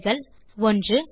விடைகள் 1